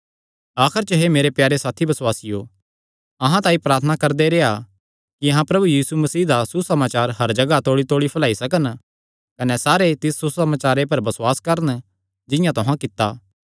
आखर च हे मेरे प्यारे साथी बसुआसियो अहां तांई प्रार्थना करदे रेह्आ कि अहां प्रभु यीशु मसीह दा सुसमाचार हर जगाह तौल़ीतौल़ी फैलाई सकन कने सारे लोक तिस सुसमाचारे पर बसुआस करन जिंआं तुहां कित्ता